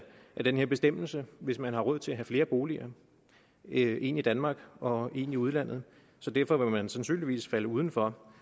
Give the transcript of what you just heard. den her bestemmelse hvis man har råd til at have flere boliger en i danmark og en i udlandet så derfor vil man sandsynligvis falde uden for